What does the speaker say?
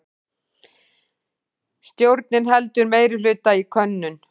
Stjórnin heldur meirihluta í könnun